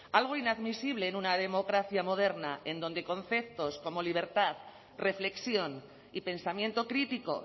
algo inadmisible en una democracia moderna en donde conceptos como libertad reflexión y pensamiento crítico